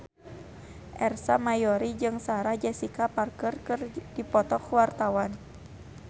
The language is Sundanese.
Ersa Mayori jeung Sarah Jessica Parker keur dipoto ku wartawan